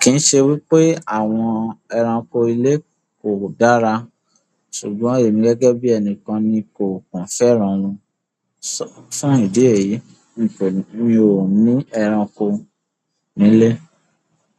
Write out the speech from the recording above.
kì í ṣe wípé àwọn ẹranko ilé kò dára, ṣùgbọ́n èmi gẹ́gẹ́ bí ẹni kan ni kò pàn fẹ́ran wọn. Fún ìdí èyí, mi ò ní ẹranko nílé.